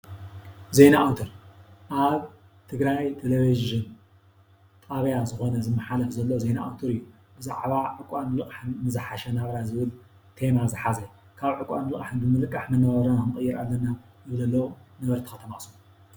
ዜና ኣውትር ኣብ ትግራይ ቴሌቪዥን ጣብያ ዝኾነ ዝማሓለፍ ዘሎ ዜና ኣውትር እዩ፡፡ ብዛዕባ ዕቋርን ልቓሕን ንዝሓሸ ናብራን ዝብል ቴማ ዝሓዘ ካብ ዕቋርን ልቓሕን ብምልቃሕ ንቕየር ኣለና ይብሉ ኣለው ነበርቲ ከተማ ኣኸሱም፡፡